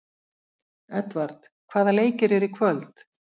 Edvard, hvaða leikir eru í kvöld?